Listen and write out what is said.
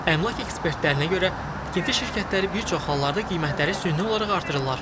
Əmlak ekspertlərinə görə, tikinti şirkətləri bir çox hallarda qiymətləri süni olaraq artırırlar.